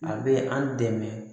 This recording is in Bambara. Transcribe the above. A bɛ an dɛmɛ